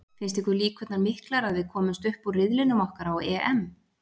Finnst ykkur líkurnar miklar að við komumst upp úr riðlinum okkar á EM?